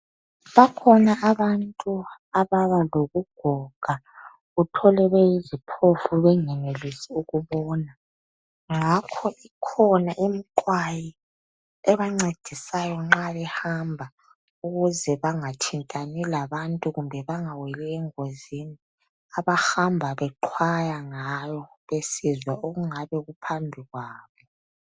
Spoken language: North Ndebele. Bakhona abantu ababa lobugoga uthole beyiziphofu bengenelisi ukubona. Ngakho ikhona imiqwayi ebancedisayo nxa behamba ukuze bengathintani labantu kumbe bangaweli engozini abahamba beqwaya ngayo besizwa okungabe kuphambi kwabo.